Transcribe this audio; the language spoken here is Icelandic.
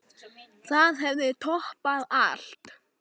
Það hefði toppað allt.